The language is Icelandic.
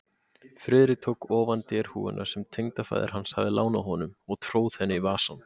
Friðrik tók ofan derhúfuna, sem tengdafaðir hans hafði lánað honum, og tróð henni í vasann.